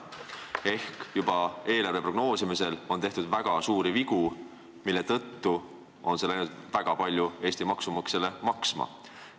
Ehk juba eelarve prognoosimisel tehti väga suuri vigu, mis on läinud Eesti maksumaksjale väga palju maksma.